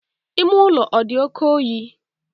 Ime ụlọ ọ dị oke oyi?